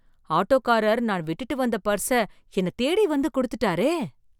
ஆட்டோக்காரர் நான் விட்டுட்டுவந்த பர்ஸ்ஸ என்னை தேடி வந்து கொடுத்துட்டாரே!